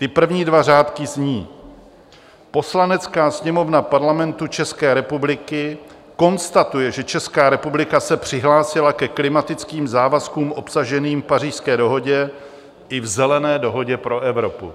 Ty první dva řádky zní: "Poslanecká sněmovna Parlamentu České republiky konstatuje, že Česká republika se přihlásila ke klimatickým závazkům obsaženým v Pařížské dohodě i v Zelené dohodě pro Evropu."